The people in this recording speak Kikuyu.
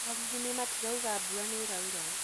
marurumĩ matiraũga mbura nĩĩraura